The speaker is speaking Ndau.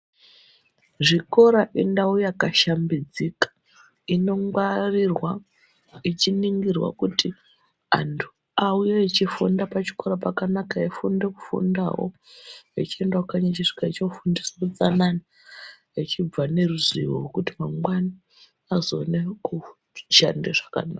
Zvikora indawu yakashambidzika inongwarirwa ichiningirwa kuti antu auye echifunda pachikora chakanaka eifunda kufundawo echiendawo kanyi echisvika echino fundiswe utsanana echibva neruzivo rokuti mangwani azoone kushande zvakanaka.